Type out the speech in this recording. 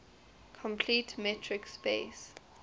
complete metric space